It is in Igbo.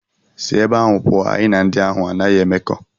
Si ebe ahụ pụọ, anyị na ndị ahụ anaghị emekọ!